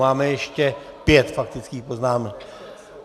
Máme ještě pět faktických poznámek.